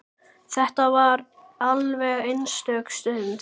Þetta var alveg einstök stund.